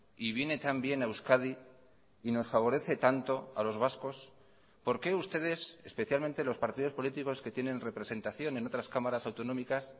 y viene tan bien a euskadi y nos favorece tanto a los vascos por qué ustedes especialmente los partidos políticos que tienen representación en otras cámaras autonómicas